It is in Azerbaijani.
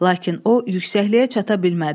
Lakin o yüksəkliyə çata bilmədi.